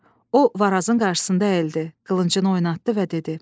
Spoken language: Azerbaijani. O Varazın qarşısında əyildi, qılıncını oynatdı və dedi: